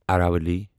Aravalli